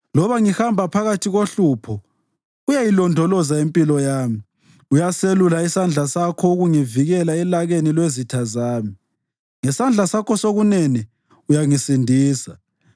Loba ngihamba phakathi kohlupho uyayilondoloza impilo yami; uyaselula isandla sakho ukungivikela elakeni lwezitha zami, ngesandla sakho sokunene uyangisindisa.